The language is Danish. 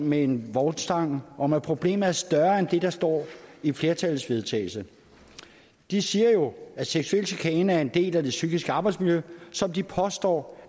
med en vognstang om at problemet er større end det der står i flertallets vedtagelse de siger jo at seksuel chikane er en del af det psykiske arbejdsmiljø som de påstår